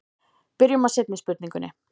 Byrjum á seinni spurningunni.